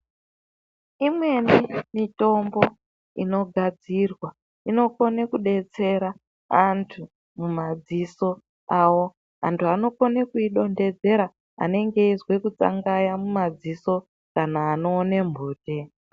Imweni mitombo inogadzirwa inokone kudetsera antu mumadziso awo, antu anokone kuidontedzera anenge eizwe kutsangaya mumadziso kana anoone mbute.